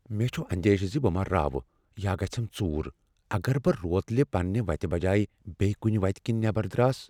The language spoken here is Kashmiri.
مےٚ چھ اندیشہ زِ بہٕ ما راوٕ یا گژھیم ژُور اگر بہٕ روتلہ پننہ وتہِ بجایہ بیٚیہ کنہ وتہ کِنۍ نیٚبر دراس۔